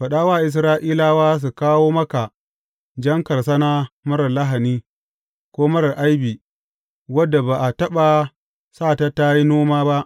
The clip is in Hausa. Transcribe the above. Faɗa wa Isra’ilawa su kawo maka jan karsana marar lahani, ko marar aibi wadda ba a taɓa sa ta tă yi noma ba.